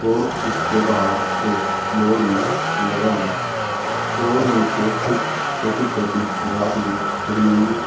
और इसके बाहर एक एक बोर्ड भी लगा हुआ हैं और नीचे कुछ छोटी छोटी घास भी खड़ी हुई है।